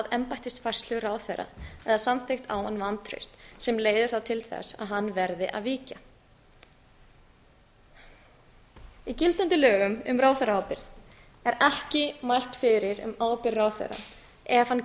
embættisfærslu ráðherra eða samþykkt á hann vantraust sem leiðir þá til þess að hann verður að víkja í gildandi lögum um ráðherraábyrgð er ekki mælt fyrir um ábyrgð ráðherra ef hann